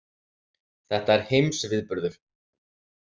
Þetta er heimsviðburður.